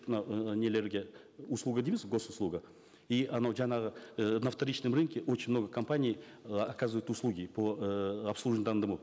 мынау і нелерге услуга дейміз гос услуга и анау жаңағы і на вторичном рынке очень много компаний э оказывают услуги по эээ обслуживанию данному